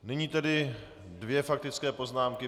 Nyní tedy dvě faktické poznámky.